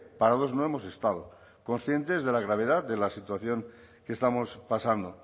parados no hemos estado conscientes de la gravedad de la situación que estamos pasando